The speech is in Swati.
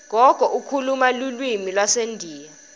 gogo ukhuluma lulwimi lwasendiya